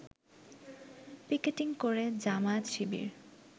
picketing করে জামায়াত শিবির